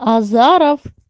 азаров